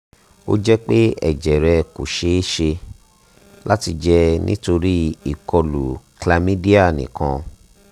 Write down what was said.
ó jẹ́ pé ẹ̀jẹ̀ rẹ kò ṣe é ṣe láti jẹ́ nítorí ìkọlù chlamydia nìkan